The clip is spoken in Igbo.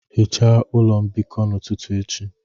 Hichaa ụlọ mbikọ n'ụtụtụ echi